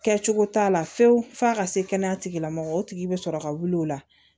Kɛcogo t'a la fiyewu f'a ka se kɛnɛya tigilamɔgɔw tigi bɛ sɔrɔ ka wuli o la